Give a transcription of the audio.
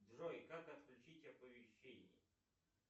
джой как отключить оповещение